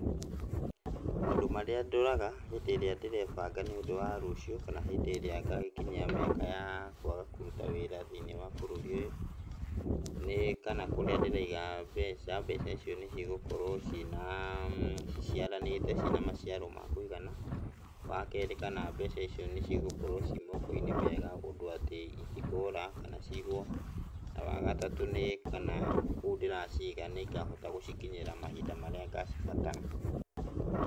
Maũndũ marĩa ndoraga hĩndĩ ĩrĩa ndĩrebanga nĩ ũndũ wa rũciũ, kana hĩndĩ ĩrĩa ngagĩkinyia mĩaka ya kwaga kũruta wĩra thĩiniĩ wa bũrũri ũyũ, nĩ kana kũrĩa ndĩraiga mbeca, mbeca icio nĩ cigũkorwo cina ciciaranĩte cina maciaro ma kũigana. Wa keerĩ kana mbeca icio nĩ cigũkorwo ci moko-inĩ mega ũndũ atĩ itikũra kana ciiywo. Na wa gatatũ nĩ kana kũu ndĩraciga nĩ ngahota gũcikinyĩra mahinda marĩa ngacibatara.